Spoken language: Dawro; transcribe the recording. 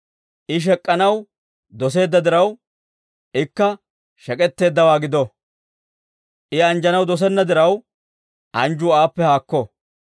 I shek'k'anaw doseedda diraw, ikka shek'k'etteeddawaa gido! I anjjanaw dosenna diraw, anjjuu aappe haakko!